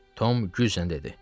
Tom güclə dedi: